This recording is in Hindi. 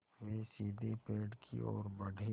वे सीधे पेड़ की ओर बढ़े